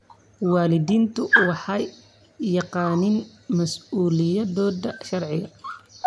Waalidiintu waxay yaqaaniin mas'uuliyadooda sharci.